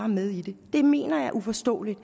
med i det det mener jeg er uforståeligt